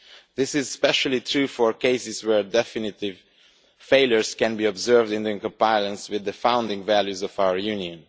This is especially true for cases where definite failures can be observed in the compliance with the founding values of our Union.